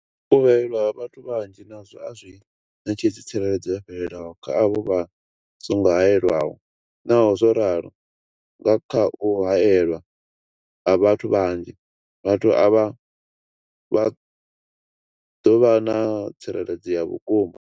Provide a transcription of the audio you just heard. U haelwa ha vhathu vhanzhi nazwo a zwi ṋetshedzi tsireledzo yo fhelelaho kha avho vha songo haelwaho, Naho zwo ralo, nga kha u haelwa ha vhathu vhanzhi, vhathu avha vha ḓo vha na tsireledzo ya vhukuma.